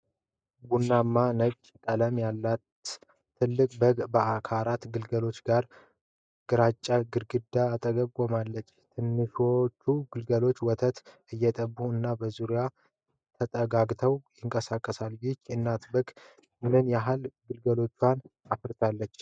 ቡናማ እና ነጭ ቀለማት ያላት ትልቅ በግ ከአራት ግልገሎቿ ጋር፣ ግራጫ ግድግዳ አጠገብ ቆማለች። ትንሾቹ ግልገሎች ወተት እየጠጡ እና በዙሪያዋ ተጠጋግተው ይንቀሳቀሳሉ። ይህች እናት በግ ምን ያህል ግልገሎችን አፈራች?